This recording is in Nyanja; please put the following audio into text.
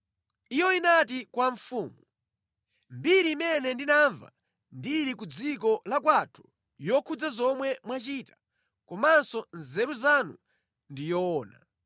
Iyo inati kwa mfumu, “Mbiri imene ndinamva ndili ku dziko kwathu ya zomwe munachita komanso nzeru zanu ndi yoona.